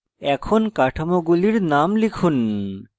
এখন কাঠামোগুলির names লিখুন